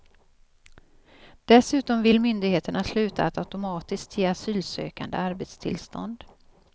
Dessutom vill myndigheterna sluta att automatiskt ge asylsökande arbetstillstånd.